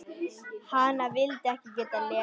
Hana vildi ég geta lesið.